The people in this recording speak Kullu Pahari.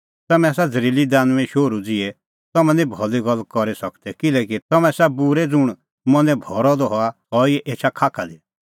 तम्हैं आसा झ़रीली दानुईंए शोहरू ज़िहै तम्हैं निं भली गल्ला करी ई सकदै किल्हैकि तम्हैं आसा बूरै ज़ुंण मनैं भरअ द हआ सह ई एछा खाखा दी